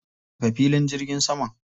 Rufe filin jirgin saman.